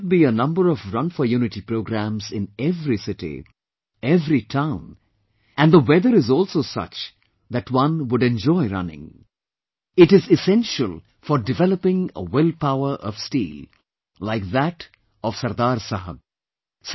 There should be a number of Run for Unity programmes in every city, every town and the weather is also such that one would enjoy running It is essential for developing a will power of steel, like that of Sardar Saheb